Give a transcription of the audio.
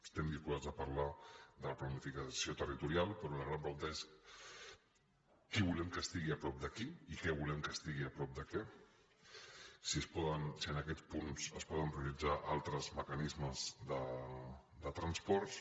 estem disposats a parlar de la planificació territorial però la gran pregunta és qui volem que estigui a prop de qui i què volem que estigui a prop de què si en aquests punts es poden prioritzar altres mecanismes de transports